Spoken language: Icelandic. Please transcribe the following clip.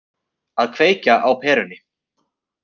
Að kveikja á perunni